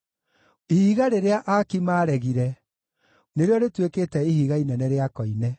Ihiga rĩrĩa aaki maaregire nĩrĩo rĩtuĩkĩte ihiga inene rĩa koine;